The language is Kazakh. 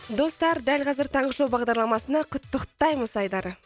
достар дәл қазір таңғы шоу бағдарламасында құттықтаймыз айдары